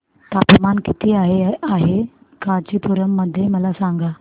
तापमान किती आहे कांचीपुरम मध्ये मला सांगा